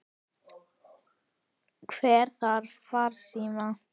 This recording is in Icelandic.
Hver þarf farsíma?